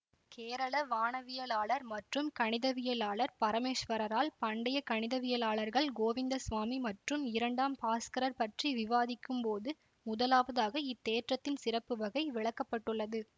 கேரள வானவியலாளர் மற்றும் கணிதவியலாளர் பரமேஷ்வரரால் பண்டைய கணிதவியலாளர்கள் கோவிந்தசுவாமி மற்றும் இரண்டாம் பாஸ்கரர் பற்றி விவாதிக்கும்போது முதலாவதாக இத்தேற்றத்தின் சிறப்புவகை விளக்க பட்டுள்ளது